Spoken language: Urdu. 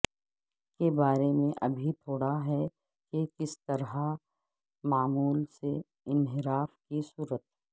کے بارے میں ابھی تھوڑا ہے کہ کس طرح معمول سے انحراف کی صورت